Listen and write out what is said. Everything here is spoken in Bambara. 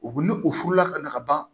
U ni u furula ka na ka ban